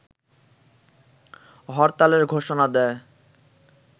হরতালের ঘোষণা দেয়